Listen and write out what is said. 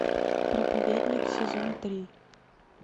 проповедник сезон три